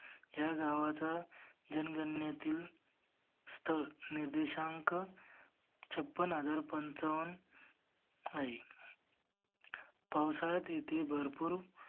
ह्या गावचा जनगणंनेतील स्तर निर्देशाक छप्पन हजार पंचावन्न आहे. पावसाळ्यात येथे भरपूर